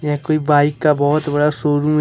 यह कोई बाइक का बहोत बड़ा शोरूम है।